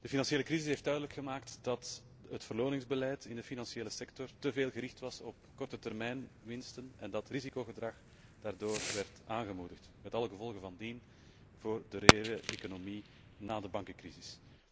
De financiële crisis heeft duidelijk gemaakt dat het beloningsbeleid in de financiële sector te veel gericht was op kortetermijnwinsten en dat risicogedrag daardoor werd aangemoedigd met alle gevolgen van dien voor de hele economie na de bankencrisis.